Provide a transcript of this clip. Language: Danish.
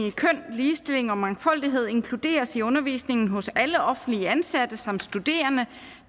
i køn ligestilling og mangfoldighed inkluderes i undervisningen hos alle offentligt ansatte samt studerende